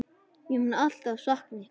Ég mun alltaf sakna ykkar.